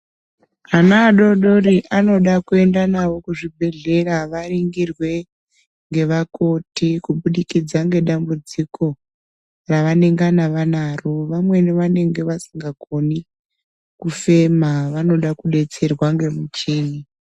Ana adodori anoda kuenda navo kuzvibhedhlera varingirwe ngevakoti kubudikidza ngedambudziko ravanengavanaro. Vamweni vanenge vasinga koni kufema vanoda kubetserwa ngemucheni.